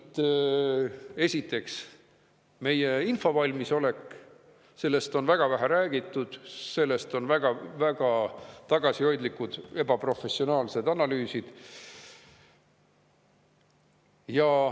Ja siit, esiteks, meie infovalmisolek – sellest on väga vähe räägitud, selle kohta on väga tagasihoidlikud, ebaprofessionaalsed analüüsid.